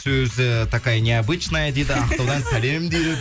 сөзі такая необычная дейді ақтаудан сәлем дейді